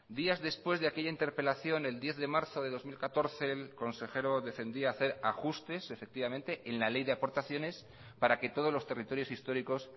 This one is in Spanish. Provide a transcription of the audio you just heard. días después de aquella interpelación el diez de marzo de dos mil catorce el consejero defendía hacer ajustes efectivamente en la ley de aportaciones para que todos los territorios históricos